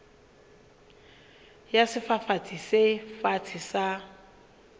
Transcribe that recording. ya sefafatsi se fatshe sa